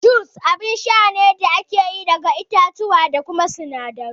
Jus abun sha ne da ake yi daga ƴaƴan itace da wasu sinadarai